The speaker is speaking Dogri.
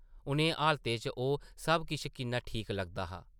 उʼनें हालातें च ओह् सब किश किन्ना ठीक लगदा हा ।